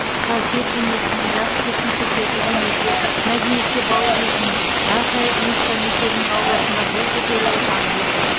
сазгер бейнесінің жас жеткіншектерді өнерге мәдениетке баулитын ақжайық музыка мектебінің ауласында бой көтеруі заңдылық